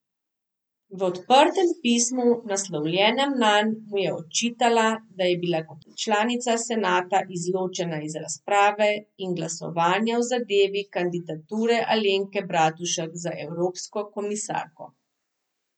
V odprtem pismu, naslovljenem nanj, mu je očitala, da je bila kot članica senata izločena iz razprave in glasovanja v zadevi kandidature Alenke Bratušek za evropsko komisarko.